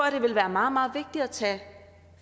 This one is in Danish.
at det ville være meget meget vigtigt at tage